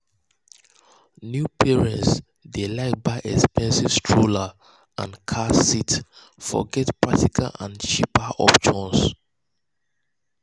new parents dey um like buy expensive strollers um and car seats forget practical and cheaper options.